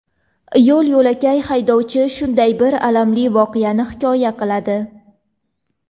Yo‘l-yo‘lakay haydovchi shunday bir alamli voqeani hikoya qiladi.